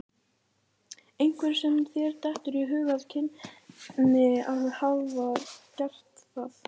Einhver sem þér dettur í hug að kynni að hafa gert það?